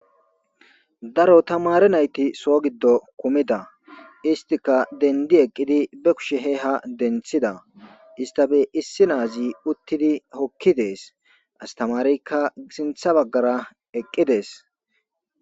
daro tamare nayti soo giddo kumida istika dendi eqqidi be kushe he ha denthida istafe issi naazi uttidi hokki dees astamareykka isintha baggara eqqidees